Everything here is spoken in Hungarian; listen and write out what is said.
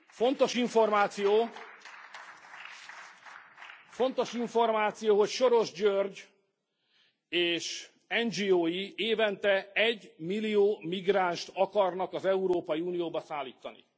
Fontos információ, hogy Soros György és NGO i évente egymillió migránst akarnak az Európai Unióba szállítani.